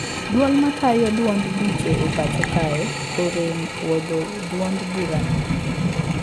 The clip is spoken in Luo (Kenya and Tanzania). Duol matayo duond buche e pacho kae orem puodho duond bura no